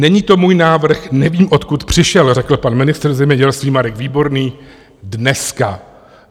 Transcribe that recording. Není to můj návrh, nevím, odkud přišel, řekl pan ministr zemědělství Marek Výborný dneska.